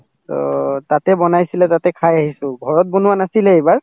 to তাতে বনাইছিলে তাতে খাই আহিছো ঘৰত বনোৱা নাছিলে এইবাৰ